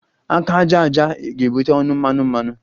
Aka aja aja ga-ebute ọnụ mmanụ mmanụ